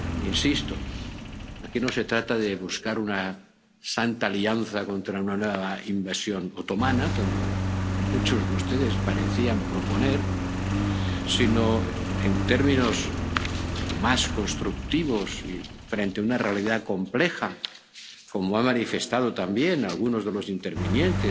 Insisto aquí no se trata de buscar una santa alianza contra una nueva invasión otomana, como muchos de ustedes parecían proponer, sino, en términos más constructivos, frente a una realidad compleja, como han manifestado también algunos de los intervinientes